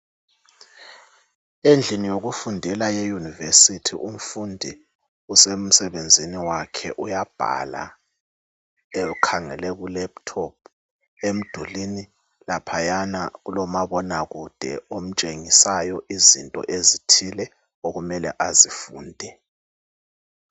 Endlini yokufundela eyunivesithi umfundi usemsebenzini wakhe uyabhala ekhangele ilephuthophu. Emdulini laphayana kulomabonakude omtshengisayo izinto ezithile okumele azifunde.